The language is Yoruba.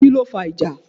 Kíló fa ìjà?